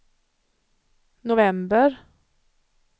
november